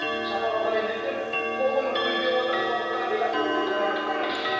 шапалақ ұрайын десем қолым рульде отыр сондықтан да өзіме ұрып қояйын